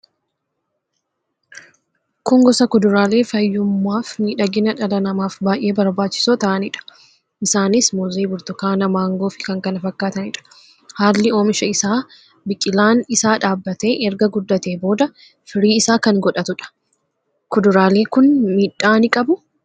Kun gosa kuduraale fayyummaaf midhagina dhala namaf baay'ee barbaachiso tahanidha. Isaanis muuzii, burtukaana, mangoof kkf dha. Haalli omisha isa biqilaan isa dhaabbate erga guddate booda firii isa kan godhatudha. Kuduraale kun midha ni qabu?